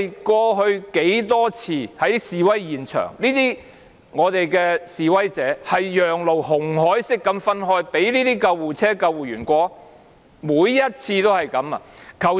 過去多次在示威現場，示威者都是"紅海式"讓路，讓救護車和救護員通過，每次如是。